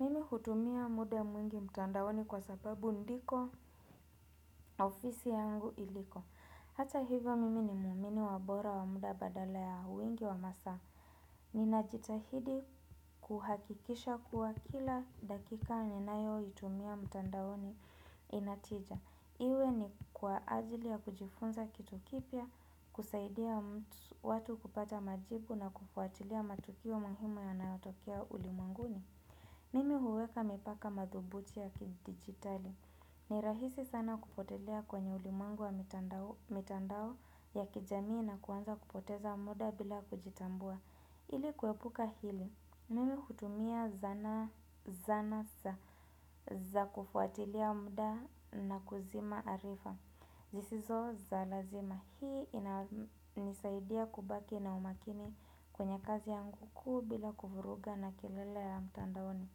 Mimi hutumia muda mwingi mtandaoni kwa sababu ndiko ofisi yangu iliko. Hata hivyo mimi ni muumini wa bora wa muda badala ya wingi wa masaa. Ninajitahidi kuhakikisha kuwa kila dakika ninayoitumia mtandaoni ina tija. Iwe ni kwa ajili ya kujifunza kitu kipya, kusaidia watu kupata majibu na kufuatilia matukio muhimu yanayotokea ulimwenguni. Mimi huweka mipaka madhubuti ya kidigitali. Ni rahisi sana kupotelea kwenye ulimwengu wa mitandao ya kijamii na kuanza kupoteza muda bila kujitambua. Ili kuepuka hili, mimi hutumia zana za kufuatilia muda na kuzima arifa, zisizo za lazima. Hii inanisaidia kubaki na umakini kwenye kazi yangu kuu bila kuvuruga na kelele ya mtandaoni.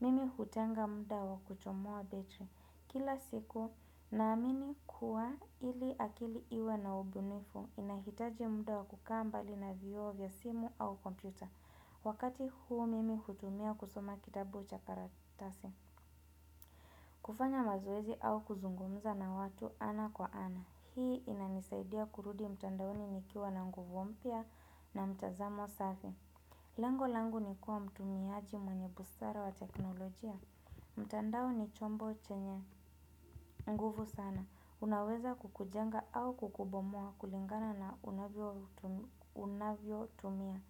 Mimi hutenga muda wa kuchomoa betri. Kila siku naamini kuwa ili akili iwe na ubunifu inahitaji muda wa kukaa mbali na vioo vya simu au kompyuta Wakati huu mimi hutumia kusoma kitabu cha karatasi kufanya mazoezi au kuzungumza na watu ana kwa ana Hii inanisaidia kurudi mtandaoni nikiwa na nguvu mpya na mtazamo safi Lengo langu ni kua mtumiaji mwenye busara wa teknolojia mtandao ni chombo chenye nguvu sana. Unaweza kukujenga au kukubomoa kulingana na unavyotumia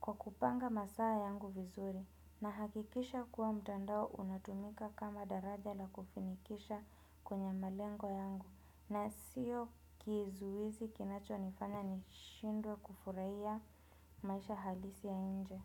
kwa kupanga masaa yangu vizuri nahakikisha kuwa mtandao unatumika kama daraja la kufanikisha kwenye malengo yangu na sio kizuizi kinachonifanya nishindwe kufurahia maisha halisi ya nje.